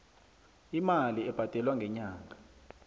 imali ebhadelwa ngenyanga